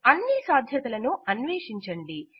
అన్ని సాధ్యతలను అన్వేషించండి